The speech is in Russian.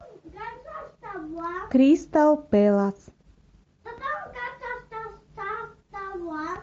кристал пэлас